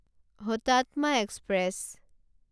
Hutatma express